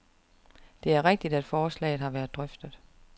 Det er rigtigt, at forslaget har været drøftet.